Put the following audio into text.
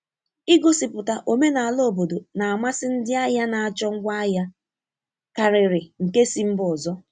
Igosipụta omenala obodo na-amasị ndị ahịa na-achọ ngwaahịa karịrị nke si mba ọzọ.